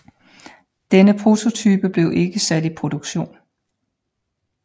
Denne prototype blev ikke sat i produktion